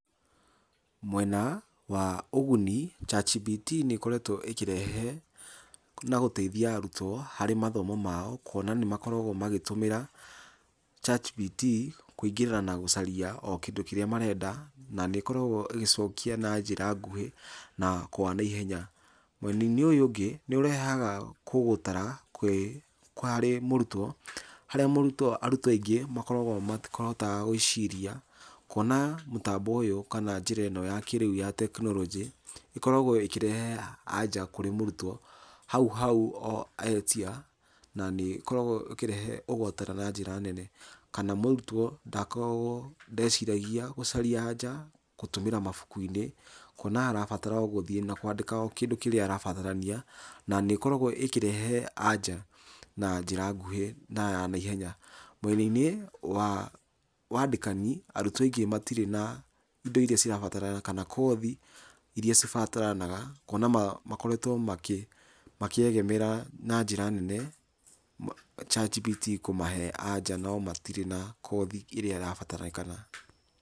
Mwena wa ũguni ChatGPT nĩ ĩkoretwo ĩkĩrehe na gũteithia arutwo harĩ mathomo mao kwona nĩ makoretwo magĩtũmĩra ChatGPT kũingĩra na gũcaria o kĩndu kĩria marenda. Na nĩ ikoragwo ĩgĩcokia na njĩra nguhĩ na kwa naihenya. Mwena-inĩ ũyũ ũngĩ nĩ ũrehaga kũgũtara harĩ murutwo harĩa arutwo aingĩ makoragwo matihotaga gwĩciria. Kuona mũtambo ũyũ kana njĩra ĩno ya kĩrĩu ya tekinoronjĩ ĩkoragwo ĩkĩrehe anja kũrĩ mũrutwo hau hau etia na nĩ ikoragwo ikĩrehe ũgũta na njĩra nene. Kana mũrutwo ndakoragwo ndeciragia gũcaria anja gũtũmĩra mabuku-inĩ kuona arabatara o gũthiĩ na kwandika kĩndũ kĩrĩa arabatarania. Na nĩ ikoragwo ĩkĩrehe anja na njĩra nguhĩ na ya naihenya. Mwena-inĩ wa wandĩkani arutwo aingĩ matirĩ na indo iria cirabatara kana kothi iria cibataranaga kuona makoretwo makĩegemera na njĩra nene ChatGPT kũmahe anja no matirĩ na kothi ĩrĩa ĩrabataranĩkana.